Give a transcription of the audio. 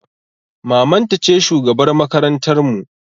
Maman ta ce shugabar makarantar mu